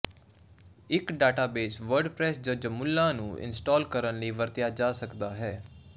ਇੱਕ database WordPress ਜ Joomla ਨੂੰ ਇੰਸਟਾਲ ਕਰਨ ਲਈ ਵਰਤਿਆ ਜਾ ਸਕਦਾ ਹੈ